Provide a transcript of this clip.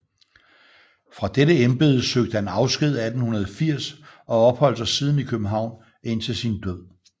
Fra dette embede søgte han afsked 1880 og opholdt sig siden i København indtil sin død